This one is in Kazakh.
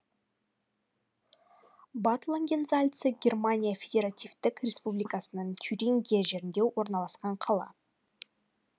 бад лангензальца германия федеративтік республикасының тюрингия жерінде орналасқан қала